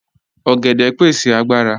Ọ̀gẹ̀dẹ pẹ̀sẹ̀ agbàrà.